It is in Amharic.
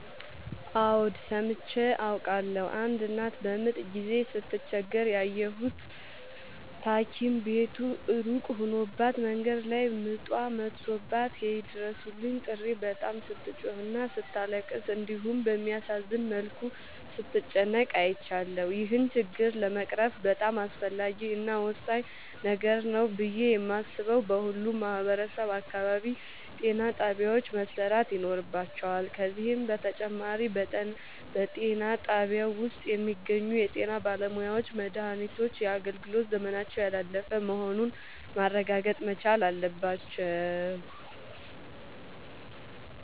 አዎድ ሠምቼ አውቃለሁ። አንድ እናት በምጥ ጊዜ ስትቸገር ያየሁት ታኪም ቤቱ እሩቅ ሆኖባት መንገድ ላይ ምጧ መቶባት የይድረሡልኝ ጥሪ በጣም ስትጮህና ስታለቅስ እንዲሁም በሚያሳዝን መልኩ ስትጨነቅ አይቻለሁ። ይህን ችግር ለመቅረፍ በጣም አስፈላጊ እና ወሳኝ ነገር ነው ብሌ የማሥበው በሁሉም ማህበረሠብ አካባቢ ጤናጣቢያዎች መሠራት ይኖርባቸዋል። ከዚህም በተጨማሪ በጤናጣቢያው ውስጥ የሚገኙ የጤናባለሙያዎች መድሃኒቶች የአገልግሎት ዘመናቸው ያላለፈ መሆኑን ማረጋገጥ መቻል አለባቸው።